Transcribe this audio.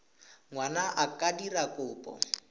ngwana a ka dira kopo